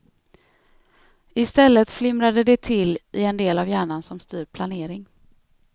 I stället flimrade det till i en del av hjärnan som styr planering.